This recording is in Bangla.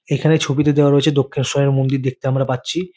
এখানে ছবিতে দেওয়া রয়েছে দক্ষিণেশ্বরের মন্দির দেখতে আমরা পাচ্ছি।